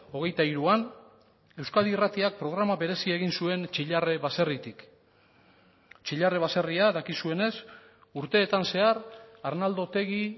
hogeita hiruan euskadi irratiak programa berezia egin zuen txillarre baserritik txillarre baserria dakizuenez urteetan zehar arnaldo otegi